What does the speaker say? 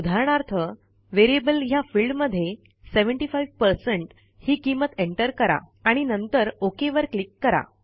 उदाहरणार्थ व्हेरिएबल ह्या फिल्डमध्ये 75 ही किंमत एंटर करा आणि नंतर ओक वर क्लिक करा